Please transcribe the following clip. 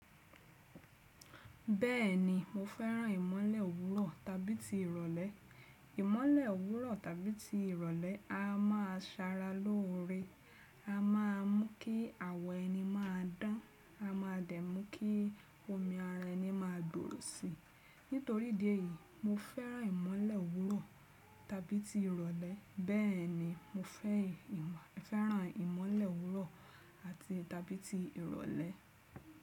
Bẹ́ẹ̀ni, mo fẹ́ràn ìmọ́lẹ̀ owúrọ̀ tàbí ti ìrọ̀lẹ́. Ìmọ́lẹ̀ owúrọ̀ tàbí ti ìrọ̀lẹ́ a máa Ṣara lóore, a má a mú kí àwọ̀ ẹni máa dán, a máa dẹ̀ mú kí omi ara ẹni máa gbòrò si. Nítorí idí ẹ̀yìí, mo fẹ́ràn ìmọ́lẹ̀ owúrọ̀ tàbí ti ìrọ̀lẹ́. Bẹ́ẹ̀ni mo fẹ́ràn ìmọ́lẹ̀ owúrọ̀ àti tàbí ti ìrọ̀lẹ́.